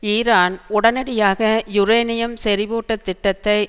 Iran உடனடியாக uranium செறிவூட்டத்திட்டத்தை